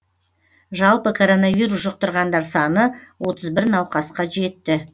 жалпы коронавирус жұқтырғандар саны отыз бір науқасқа жетті